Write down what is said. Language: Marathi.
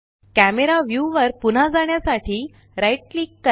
कॅमरा व्यू वर पुन्हा जाण्यासाठी राइट क्लिक करा